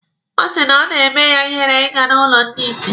Ọ sị na o na-eme ya ihere ịga n'ụlọ ndị isi.